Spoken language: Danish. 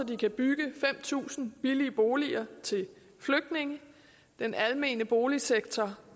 de kan bygge fem tusind billige boliger til flygtninge den almene boligsektor